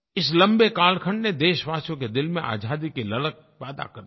इस लम्बे कालखंड ने देशवासियों के दिल में आज़ादी की ललक पैदा कर दी